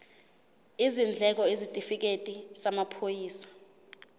izindleko isitifikedi samaphoyisa